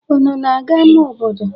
Unu na-aga ama obodo?